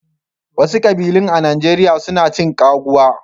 Wasu kƙbilun a Najeriya su na cin ƙaguwa.